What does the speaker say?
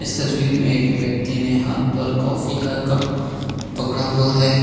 तस्वीर में एक व्यक्ति ने हाथ पर काफी का कप पकड़ा हुआ है।